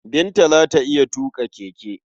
Binta za ta iya tuƙa keke.